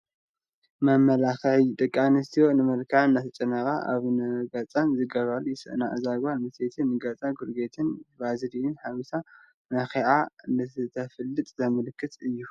መመላኽዒ፡- ደቂ ኣንስትዮ ንመልከዐን እንዳተጨነቓ ኣብ ንገፀን ዝገብራላ ይስእና፡፡ እዛ ጓል ኣነስተይቲ ንገፃ ኮልጌትን ቫዝሊንን ሓዊሳ ለኺያ እንትተፋልጥ ዘመልክት እዩ፡፡